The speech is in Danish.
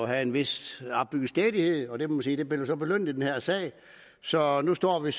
havde en vis opbygget stædighed og det må sige blev belønnet i den her sag så nu står vi